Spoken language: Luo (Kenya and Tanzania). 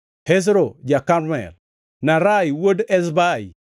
Hezro ja-Karmel, Naarai wuod Ezbai,